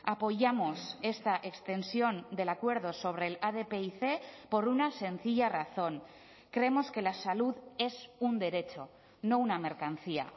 apoyamos esta extensión del acuerdo sobre el adpic por una sencilla razón creemos que la salud es un derecho no una mercancía